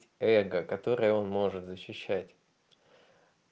эго которое он может защищать